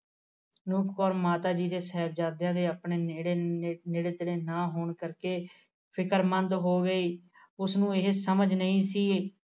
ਅਨੂਪ ਕੌਰ ਮਾਤਾ ਜੀ ਦੇ ਸਾਹਿਬਜਾਦਿਆ ਤੇ ਆਪਣੇ ਨੇੜੇ ਤੇੜੇ ਨਾ ਹੋਣ ਕਰਕੇ ਫਿਕਰਮੰਦ ਹੋ ਗਈ ਉਸਨੂੰ ਇਹ ਸਮਝ ਨਹੀ ਸੀ